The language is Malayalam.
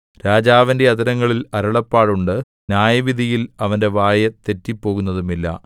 രാജാവിന്റെ അധരങ്ങളിൽ അരുളപ്പാടുണ്ട് ന്യായവിധിയിൽ അവന്റെ വായ് തെറ്റിപ്പോകുന്നതുമില്ല